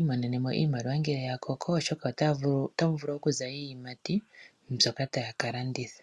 imonenemo iimaliwa ngele ya koko oshoka otamu vulu okuza iiyimati mbyoka taya kalanditha .